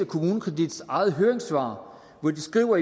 kommunekredits eget høringssvar hvor